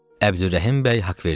Əbdürrəhim bəy Haqverdiyev.